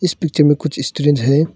इस पिक्चर मे कुछ स्टूडेंट है।